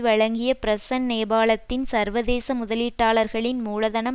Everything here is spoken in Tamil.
வழங்கிய பிரச்சன்ட நேபாளத்தில் சர்வதேச முதலீட்டாளர்களின் மூலதனம்